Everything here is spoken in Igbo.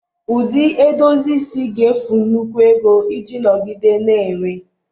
Ụdị edozi isi ga-efu nnukwu ego iji nọgide na-enwe